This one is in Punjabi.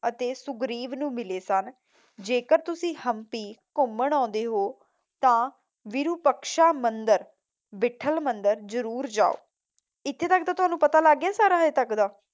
ਅਤੇ ਸੁਘਰੀਵ ਨੂੰ ਮਿਲੇ ਸਨ। ਜੇਕਰ ਤੁਸੀਂ ਹੰਪੀ ਘੁੰਮਣ ਆਉਂਦੇ ਹੋ ਤਾਂ ਵੀਰੂਪਕਸ਼ਾ ਮੰਦਰ, ਬੀਠਲ ਮੰਦਰ ਜਰੂਰ ਜਾਓ। ਇਥੇ ਤੱਕ ਤਾਂ ਤੁਹਾਨੂੰ ਪਤਾ ਲਗ ਗਿਆ ਸਾਰਾ ਹਜੇ ਤੱਕ ਦਾ?